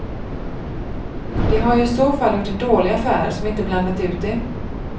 De har ju i så fall gjort en dålig affär som inte blandat ut det.